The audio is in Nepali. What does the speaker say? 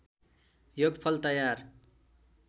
योगफल तयार